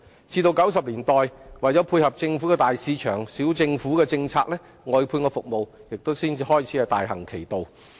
至1990年代，為配合政府的"大市場、小政府"政策，外判服務才開始大行其道。